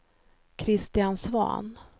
Kristian Svahn